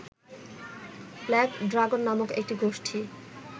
black dragon নামক একটি গোষ্ঠী